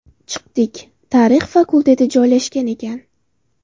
Chiqdik, tarix fakulteti joylashgan ekan.